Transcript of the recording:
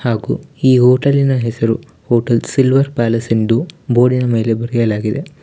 ಹಾಗು ಈ ಹೋಟೆಲಿನ ಹೆಸರು ಹೋಟೆಲ್ ಸಿಲ್ವರ್ ಪ್ಯಾಲೇಸ್ ಎಂದು ಬೋರ್ಡಿನ ಮೇಲೆ ಬರೆಯಲಾಗಿದೆ.